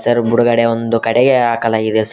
Sir ಬುಡ್ಗಡೆ ಒಂದು ಕಡೆಗೆ ಹಾಕಲಾಗಿದೆ ಸರ್ .